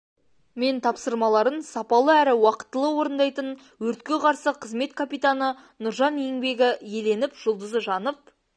мен тапсырмаларын сапалы әрі уақытылы орындайтын өртке қарсы қызмет капитаны нұржан еңбегі еленіп жұлдызы жанып